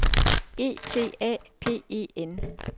E T A P E N